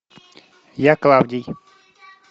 я клавдий